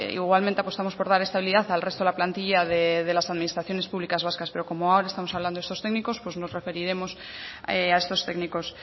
igualmente apostamos por dar estabilidad al resto de la plantilla de las administraciones públicas vascas pero ahora como ahora mismo estamos hablando de esos técnicos pues nos referiremos a estos técnicos